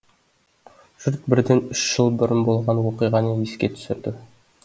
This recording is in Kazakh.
жұрт бірден үш жыл бұрын болған оқиғаны еске түсірді